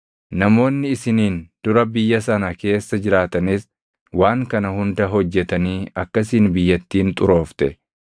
Namoonni isiniin dura biyya sana keessa jiraatanis waan kana hunda hojjetanii akkasiin biyyattiin xuroofte.